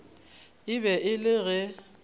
e be e le ge